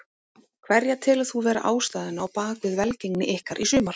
Hverja telur þú vera ástæðuna á bakvið velgengni ykkar í sumar?